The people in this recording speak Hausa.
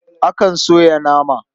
Akan soya nama.